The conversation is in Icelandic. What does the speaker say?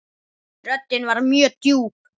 Röddin var mjög djúp.